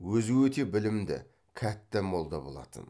өзі өте білімді кәтта молда болатын